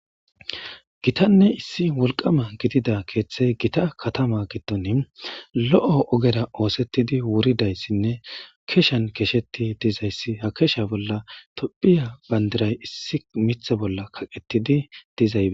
gitanne issi wolqama gidida keeththey gita katama gidon lo7l'o ogera oosettidi wuridayssinne keshan kesheti dizayssi ha kesha bolla tophiya bandiray issi mitha bolla kaqetidi dizaye